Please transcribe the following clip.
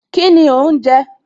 Kíni òhún jẹ